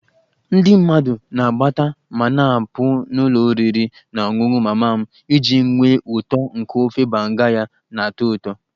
Ndị mmadụ na-abata ma na-apụ n'ụlọ oriri na ọṅụṅụ mama m iji nwee uto nke ofe banga ya na-atọ ụtọ